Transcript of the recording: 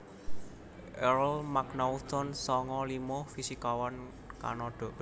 Earl MacNaughton sanga limo fisikawan Kanada